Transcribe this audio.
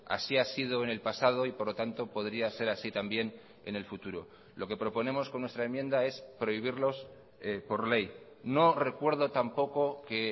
así ha sido en el pasado y por lo tanto podría ser así también en el futuro lo que proponemos con nuestra enmienda es prohibirlos por ley no recuerdo tampoco que